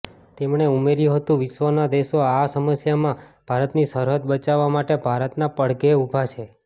તેમણે ઉમેર્યું હતું વિશ્વના દેશો આ સમસ્યામાં ભારતની સરહદ બચાવવા માટે ભારતના પડઘે ઉભા છે